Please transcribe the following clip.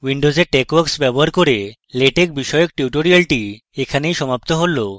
windows texworks ব্যবহার করে latex বিষয়ক tutorial এখানেই সম্পূর্ণ হলো